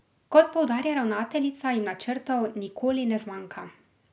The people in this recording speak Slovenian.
Kot poudarja ravnateljica, jim načrtov nikoli ne zmanjka.